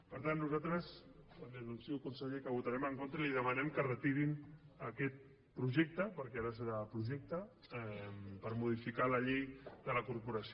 per tant nosaltres li anuncio conseller que hi votarem en contra i li demanem que retirin aquest projecte perquè ara serà projecte per modificar la llei de la corporació